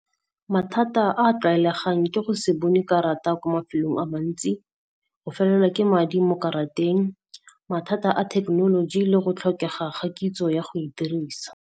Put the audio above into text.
Mathata a tlwaelegang ke go se bone karata kwa mafelong a mantsi, go felelwa ke madi mo karateng, mathata a technology le go tlhokega ga kitso ya go e dirisa.